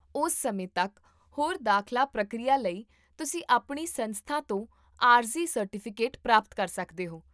ਉਸ ਸਮੇਂ ਤੱਕ, ਹੋਰ ਦਾਖਲਾ ਪ੍ਰਕਿਰਿਆ ਲਈ, ਤੁਸੀਂ ਆਪਣੀ ਸੰਸਥਾ ਤੋਂ ਆਰਜ਼ੀ ਸਰਟੀਫਿਕੇਟ ਪ੍ਰਾਪਤ ਕਰ ਸਕਦੇ ਹੋ